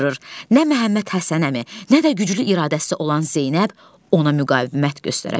Nə Məhəmməd Həsən əmi, nə də güclü iradəsi olan Zeynəb ona müqavimət göstərə bilir.